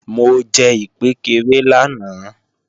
Mo jẹ ìkpékeré lánàá